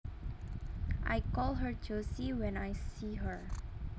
I call her Josie when I see her